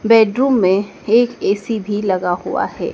Bedroom में एक AC भीं लगा हुआ है।